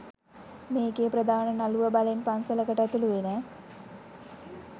මේකෙ ප්‍රධාන නළුව බලෙන් පන්සලකට ඇතුළු වෙන